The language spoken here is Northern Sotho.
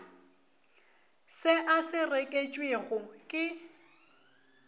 se a se reketšwego ke